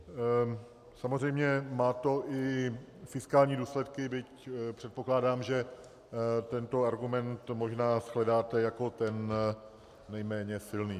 Samozřejmě má to i fiskální důsledky, byť předpokládám, že tento argument možná shledáte jako ten nejméně silný.